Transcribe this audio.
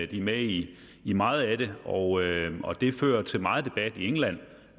de er med i i meget af det og det fører til meget debat i england